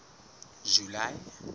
july